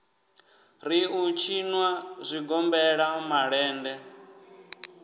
ri u tshinwa zwigombela malende